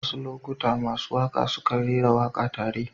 Wasu lokuta masu waƙa sukan rera waƙa tare.